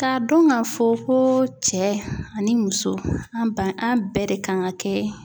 K'a dɔn k'a fɔ ko cɛ ani muso an ba an bɛɛ de kan ka kɛ